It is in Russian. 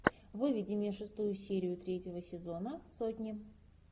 выведи мне шестую серию третьего сезона сотни